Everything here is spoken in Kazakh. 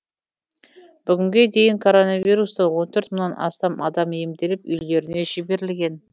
бүгінге дейін коронавирустан он төрт мыңнан астам адам емделіп үйлеріне жіберілген